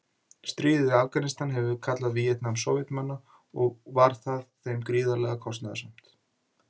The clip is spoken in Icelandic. Stríðið í Afganistan hefur verið kalla Víetnam-Sovétmanna og var það þeim gríðarlega kostnaðarsamt.